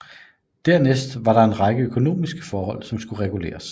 Dernæst var der en række økonomiske forhold som skulle reguleres